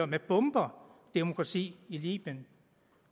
med bomber at demokrati i libyen